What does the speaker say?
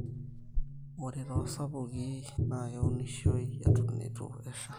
ore toosupuki naa keunishioi eton eitu esha